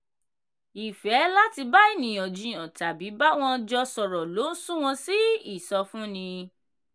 ifẹ́ láti bá ènìyàn jiyàn tàbí bá wọ́n jọ sọ̀rọ̀ ló ń sún wọ́n sí ìsọfúnni.